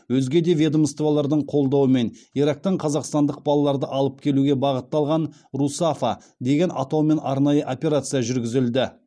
өзге де ведомстволардың қолдауымен ирактан қазақстандық балаларды алып келуге бағытталған русафа деген атаумен арнайы операция жүргізілді